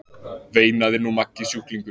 veinaði nú Maggi sjúklingur.